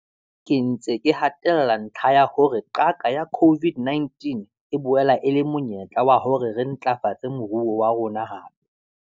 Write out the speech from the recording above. Ke ntse ke hatella ntlha ya hore qaka ya COVID-19 e boela e le monyetla wa hore re ntlafatse moruo wa rona hape.